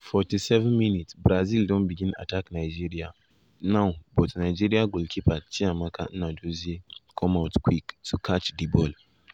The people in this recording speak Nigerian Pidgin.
47’ brazil 47’ brazil don begin attack nigeria now now but nigeria goalkeeper chiamaka nnadozie come out quick to catch di ball.